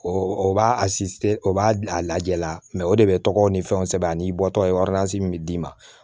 O o b'a o b'a lajɛ la o de bɛ tɔgɔ ni fɛnw sɛbɛn ani i bɔtɔ ye min bɛ d'i ma